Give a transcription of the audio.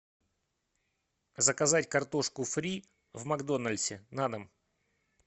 заказать картошку фри в макдональдсе на дом